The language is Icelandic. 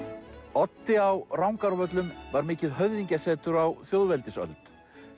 Oddi á Rangárvöllum var mikið höfðingjasetur á þjóðveldisöld